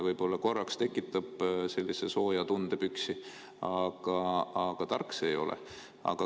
Võib-olla korraks tekitab sellise sooja tunde püksi, aga tark see ei ole.